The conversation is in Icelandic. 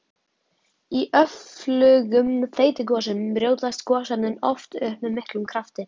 Í öflugum þeytigosum brjótast gosefnin oft upp með miklum krafti.